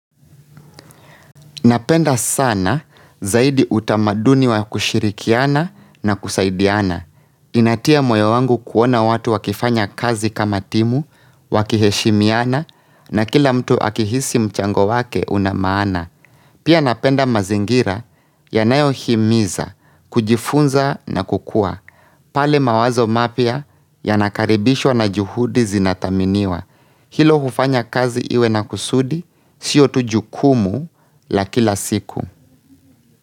Napenda sana zaidi utamaduni wa kushirikiana na kusaidiana. Inatia moyo wangu kuona watu wakifanya kazi kama timu, wakiheshimiana na kila mtu akihisi mchango wake unamaana. Pia napenda mazingira yanayo himiza, kujifunza na kukua. Pale mawazo mapya ya nakaribishwa na juhudi zinataminiwa. Hilo hufanya kazi iwe na kusudi siyo tu jukumu la kila siku.